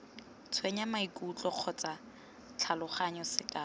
tshwenya maikutlo kgotsa tlhaloganyo sekao